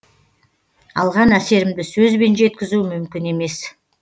алған әсерімді сөзбен жеткізу мүмкін емес